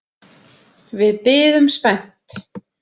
Við biðum spennt.